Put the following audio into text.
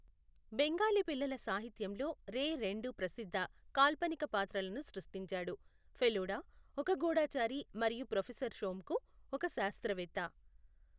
బెంగాలీ పిల్లల సాహిత్యంలో రే రెండు ప్రసిద్ధ కాల్పనిక పాత్రలను సృష్టించాడు, ఫెలుడా, ఒక గూఢచారి మరియు ప్రొఫెసర్ షోంకు, ఒక శాస్త్రవేత్త.